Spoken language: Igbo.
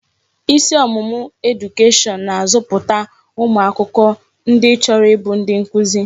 Isi ọmụmụ edukeshọn na-azọpụta ụmụ akwụkwọ ndi chọrọ ịbụ ndi nkuzi.